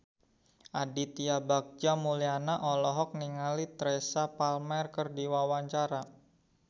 Aditya Bagja Mulyana olohok ningali Teresa Palmer keur diwawancara